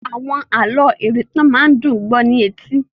Àwọn àlọ́ ìrìntàn máa ń dùn ún gbó ní etí.